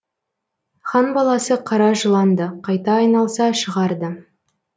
хан баласы қара жылан ды қайта айналса шығар ды